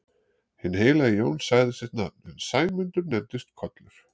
Hinn heilagi Jón sagði sitt nafn en Sæmundur nefndist Kollur.